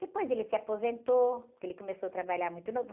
Depois ele se aposentou, porque ele começou a trabalhar muito novo.